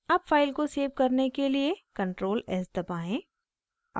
अब फाइल को सेव करने के लिए ctrl+s दबाएं